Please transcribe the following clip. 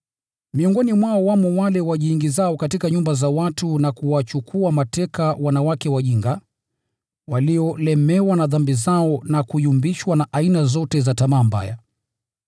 Miongoni mwao wamo wale wajiingizao katika nyumba za watu na kuwachukua mateka wanawake wajinga, waliolemewa na dhambi zao na kuyumbishwa na aina zote za tamaa mbaya.